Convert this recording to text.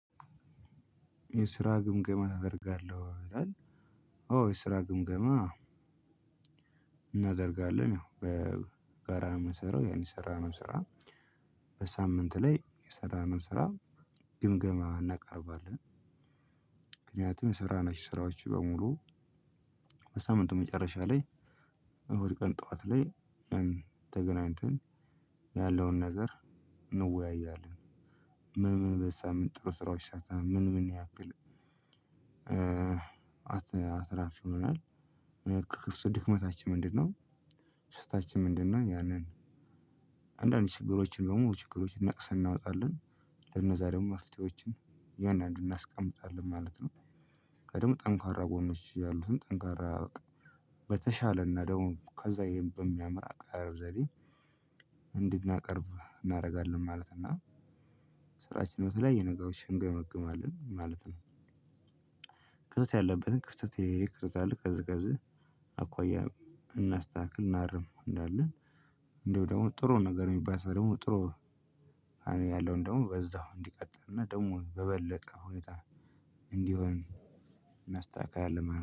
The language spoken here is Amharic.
የስራ ግምገማ ታደርጋለህ ወይ? ይላል አዎ የስራ ግምገማ እናደርጋለን። ያው በጋራ ነው የምንሰራው። ያን የሰራነው ስራ በሳምንት ላይ የሰራነው ስራ ግምገማ እናቀርባለን። ምክንያቱም የሰራናቸው ስራዎች በሙሉ በሳምንቱ መጨረሻ ላይ እሁድ ቀን ጠዋት ላይ ተገናኝተን ያለውን ነገር እንወያያለን። ምን ምን በዚህ ሳምንት ጥሩ ስራዎች ሰርተናል። ምን ምን ያክል አትራፊ ሆነናል። ድክመታችን ምንድነው ስህተታችን ምንድነው ያንን አንዳንድ ችግሮችን በሙሉ ችግሮችን ነቅሰን እናወጣለን። ለነዛ ደግሞ መፍትሄዎችን እያንዳንዱን እናስቀምጣለን ማለት ነው። ቀድሞ ጠንካራ ጎኖች ያሉትን ጠንካራ በቃ በተሻለና ደግሞ ከዛ ይሄን በሚያምር አቀራረብ ዘዴ እንድናቀርብ እናደርጋለን ማለት ነው። እና ስራችን በተለያየ ነገሮች እንገመግማለን ማለት ነው። ክፍተት ያለብንን ክፍተት ይሄ ይሄ ክፍተት አለ ከዚ ከዚ አኳያ እናስተካክል እናርም እንላለን። እንዲሁ ደግሞ ጥሩ ነገር የሚባል ሰው ደግሞ ጥሩ ያለውን ደግሞ በዛው እንዲቀጥልና ደግሞ በበለጠ ሁኔታ እንዲሆን እናስተካክላለን